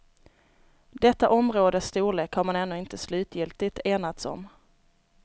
Detta områdes storlek har man ännu inte slutgiltigt enats om.